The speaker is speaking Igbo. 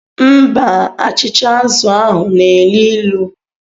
Mba, achịcha azụ̀ ahu na elu ilu.